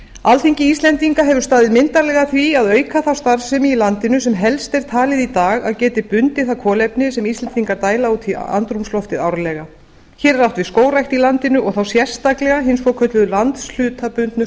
alþingi íslendinga hefur staðið myndarlega að því að auka þá starfsemi í landinu sem helst er talið í dag að geti bundið það kolefni sem íslendingar dæla út í andrúmsloftið árlega hér er átt við skógrækt í landinu og þá sérstaklega hin svokölluðu landshlutabundnu